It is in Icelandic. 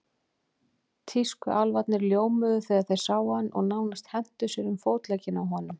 Tískuálfarnir ljómuðu þegar þeir sáum hann og nánast hentu sér um fótleggina á honum.